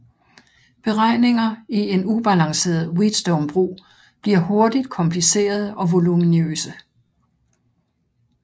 Beregninger i en ubalanceret Wheatstonebro bliver hurtigt komplicerede og voluminøse